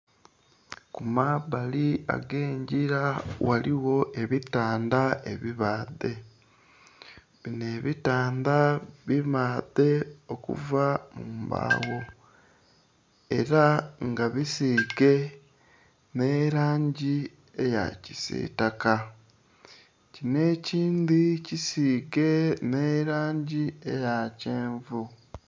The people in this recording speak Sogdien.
Ku mabbali ag'engila ghaligho ebitandha ebibaadhe, binho ebitandha bibaadhe okuva mu mbagho, ela nga bisiige nh'elangi eya kisiitaka. Kinho ekindhi kisiige nh'elangi eya kyenvu.